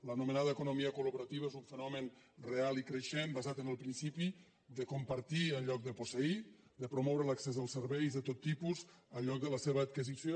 l’anomenada economia col·laborativa és un fenomen real i creixent basat en el principi de compartir en lloc de posseir de promoure l’accés als serveis de tot tipus en lloc de la seva adquisició